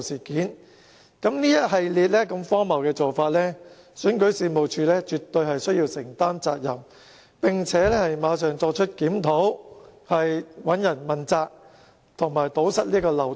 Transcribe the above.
這一系列如此荒謬的做法，選舉事務處絕對須要承擔責任，並須馬上作出檢討、問責及堵塞漏洞。